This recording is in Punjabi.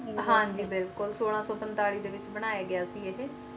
ਜੀ ਬਿਲਕੁਲ ਸੋਲਾਂ ਸੋ ਪੈਂਟਾਲਿਸ ਦੇ ਵਿਚ ਬਨਾਯਾ ਗਯਾ ਸੀ ਅਹਿ